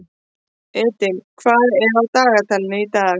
Edil, hvað er á dagatalinu í dag?